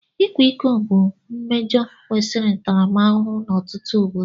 Ịkwa iko bụ mmejọ kwesịrị ntaramahụhụ n'ọtụtụ obodo